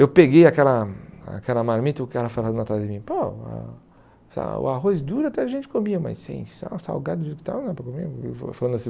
Eu peguei aquela aquela marmita e o cara falando atrás de mim, pô, a sei lá o arroz duro até a gente comia, mas sem sal, salgado e tal, não é para comer. Falando assim